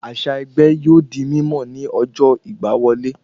Àṣà ẹgbẹ́ yóò di mímọ̀ ni ọjọ́ ìgbà wọlé